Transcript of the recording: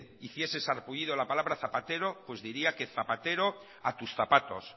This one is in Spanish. hiciese sarpullido la palabra zapatero pues diría que zapatero a tus zapatos